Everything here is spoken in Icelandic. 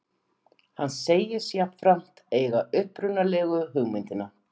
Hann segist jafnframt eiga upprunalegu hugmyndina